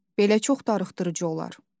Belə çox darıxdırıcı olar.